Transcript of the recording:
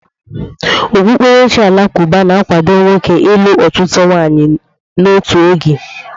Okpukperechi Alakụba na-akwado nwoke ịlụ ọtụtụ nwaanyị n'otu oge.